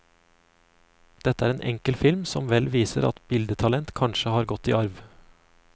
Dette er en enkel film som vel viser at bildetalent kanskje er gått i arv.